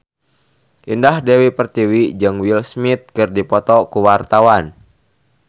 Indah Dewi Pertiwi jeung Will Smith keur dipoto ku wartawan